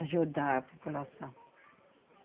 Ajudar a população.